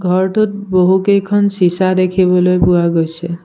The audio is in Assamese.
ঘৰটোত বহু কেইখন চিছা দেখিবলৈ পোৱা গৈছে।